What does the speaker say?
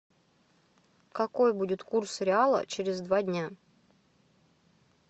какой будет курс реала через два дня